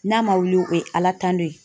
N'a ma wuli o ye ala tando ye.